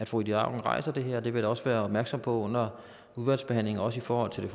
fru ida auken rejser det her og det vil også være opmærksom på under udvalgsbehandlingen også i forhold til det